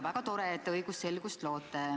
Väga tore, et te õigusselgust loote.